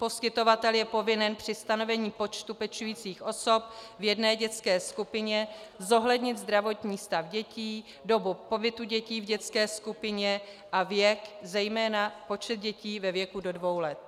Poskytovatel je povinen při stanovení počtu pečujících osob v jedné dětské skupině zohlednit zdravotní stav dětí, dobu pobytu dětí v dětské skupině a věk, zejména počet dětí ve věku do dvou let.